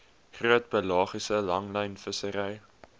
groot pelagiese langlynvissery